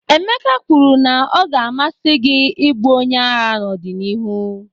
Emeka kwuru na ọ ga-amasị gị ịbụ onye agha n'ọdịnihu.